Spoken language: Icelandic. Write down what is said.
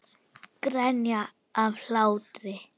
Grenja af hlátri.